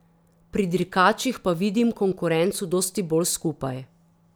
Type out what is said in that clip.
Pri dirkačih pa vidim konkurenco dosti bolj skupaj.